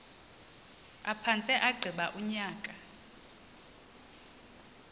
aphantse agqiba unyaka